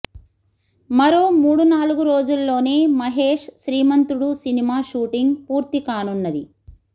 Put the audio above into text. మరో మూడు నాలుగు రోజుల్లోనే మహేష్ శ్రీమంతుడు సినిమా షూటింగ్ పూర్తి కానున్నది